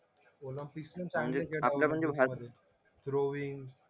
Olympics पण चांगलेच गेट द्रौविन